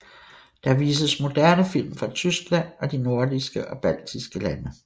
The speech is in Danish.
Der vises moderne film fra Tyskland og de nordiske og baltiske lande